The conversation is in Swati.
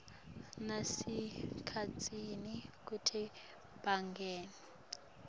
nalasemkhatsini kutsi bangene